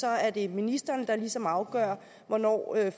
er det ministeren der ligesom afgør hvornår